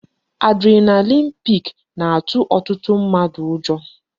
Adrenaline peak na-atụ ọtụtụ mmadụ ụjọ